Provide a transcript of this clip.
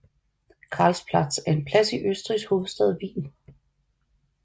Karlsplatz er en plads i Østrigs hovedstad Wien